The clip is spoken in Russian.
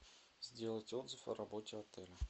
сделать отзыв о работе отеля